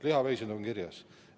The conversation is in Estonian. Lihaveised on kirjas.